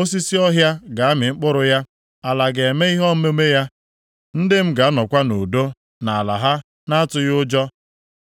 Osisi ọhịa ga-amị mkpụrụ ya, ala ga-eme ihe omume ya. Ndị m ga-anọkwa nʼudo nʼala ha na-atụghị ụjọ.